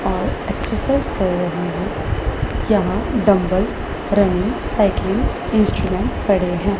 और एक्ससाईझ कर रहे है। यहाँ डंबल रनिंग सायकलिंग इन्स्ट्रुमेंट पडे है।